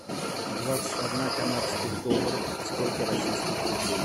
двадцать одна канадских долларов сколько российских рублей